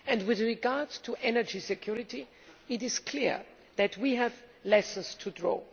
With regard to energy security, it is clear that we have lessons to draw.